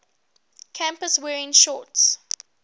campus wearing shorts